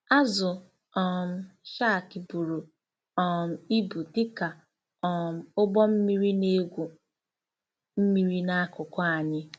Azụ um shark buru um ibu dị ka um ụgbọ mmiri na-egwu mmiri n'akụkụ anyị!